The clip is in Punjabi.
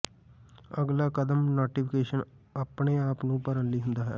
ਅਗਲਾ ਕਦਮ ਨੋਟੀਫਿਕੇਸ਼ਨ ਆਪਣੇ ਆਪ ਨੂੰ ਭਰਨ ਲਈ ਹੁੰਦਾ ਹੈ